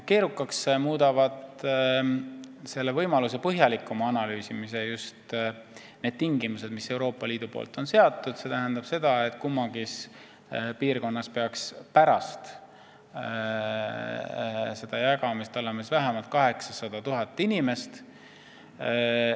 Keerukaks muudavad selle võimaluse põhjalikuma analüüsimise just need tingimused, mis Euroopa Liit on seadnud, nimelt kummaski piirkonnas peaks pärast jagamist olema vähemalt 800 000 inimest.